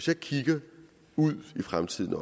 jeg kigger ud i fremtiden